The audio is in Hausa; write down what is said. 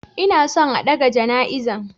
Inason a ɗaga jana izan.